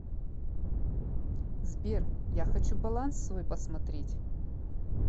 сбер я хочу баланс свой посмотреть